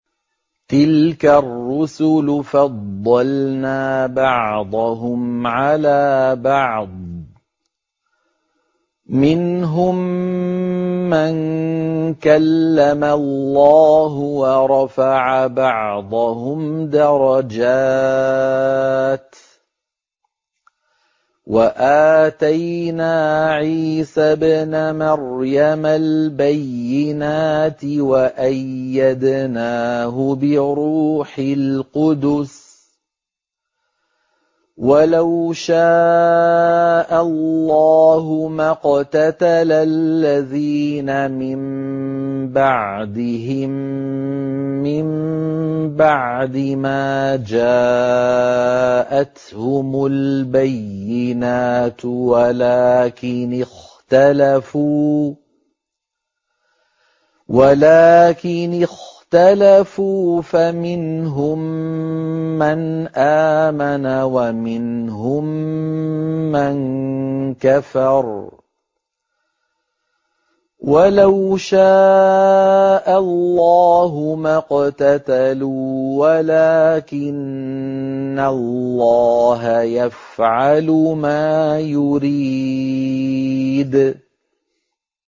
۞ تِلْكَ الرُّسُلُ فَضَّلْنَا بَعْضَهُمْ عَلَىٰ بَعْضٍ ۘ مِّنْهُم مَّن كَلَّمَ اللَّهُ ۖ وَرَفَعَ بَعْضَهُمْ دَرَجَاتٍ ۚ وَآتَيْنَا عِيسَى ابْنَ مَرْيَمَ الْبَيِّنَاتِ وَأَيَّدْنَاهُ بِرُوحِ الْقُدُسِ ۗ وَلَوْ شَاءَ اللَّهُ مَا اقْتَتَلَ الَّذِينَ مِن بَعْدِهِم مِّن بَعْدِ مَا جَاءَتْهُمُ الْبَيِّنَاتُ وَلَٰكِنِ اخْتَلَفُوا فَمِنْهُم مَّنْ آمَنَ وَمِنْهُم مَّن كَفَرَ ۚ وَلَوْ شَاءَ اللَّهُ مَا اقْتَتَلُوا وَلَٰكِنَّ اللَّهَ يَفْعَلُ مَا يُرِيدُ